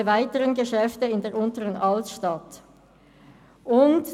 «alle weiteren Geschäfte in der Unteren Altstadt von Bern.».